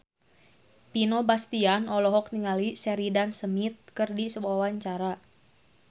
Vino Bastian olohok ningali Sheridan Smith keur diwawancara